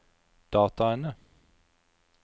dataene